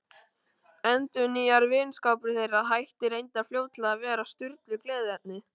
Endurnýjaður vinskapur þeirra hætti reyndar fljótlega að vera Sturlu gleðiefni.